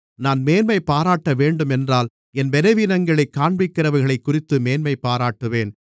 நான் மேன்மைபாராட்டவேண்டுமென்றால் என் பலவீனங்களைக் காண்பிக்கிறவைகளைக்குறித்து மேன்மைபாராட்டுவேன்